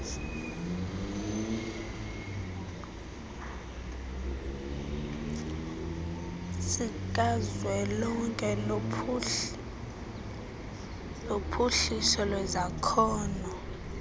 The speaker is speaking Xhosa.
sikazwelonke sophuhliso lwezakhono